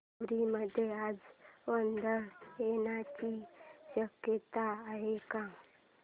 पुरी मध्ये आज वादळ येण्याची शक्यता आहे का